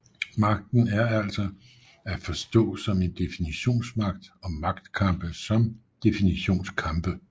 Magten er altså at forstå som en definitionsmagt og magtkampe som definitionskampe